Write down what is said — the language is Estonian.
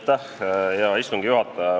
Hea istungi juhataja!